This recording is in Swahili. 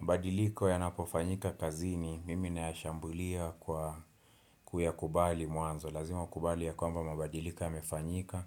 Mabadiliko yanapofanyika kazini, mimi nayashambulia kwa kuyakubali mwanzo. Lazima ukubali ya kwamba mabadiliko yamefanyika,